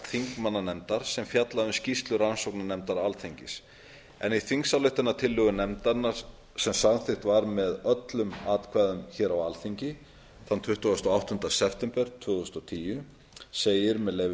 þingmannanefndar sem fjallaði um skýrslu rannsóknarnefndar alþingis en í þingsályktunartillögu nefndarinnar sem samþykkt var með öllum atkvæðum hér á alþingi þann tuttugasta og áttunda september tvö þúsund og tíu segir með leyfi